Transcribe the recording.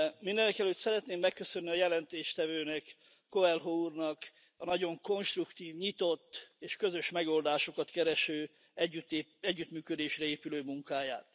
Mindenekelőtt szeretném megköszönni a jelentéstevő Coelho úrnak a nagyon konstruktív, nyitott és közös megoldásokat kereső együttműködésre épülő munkáját.